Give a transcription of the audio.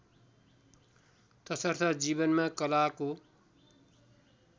तसर्थ जीवनमा कलाको